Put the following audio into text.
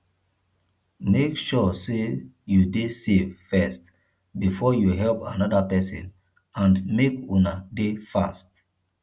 make sure say you de safe first before you help another persin and make una de fast